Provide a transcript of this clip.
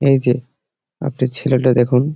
এই যে আপনি ছেলেটা দেখুন--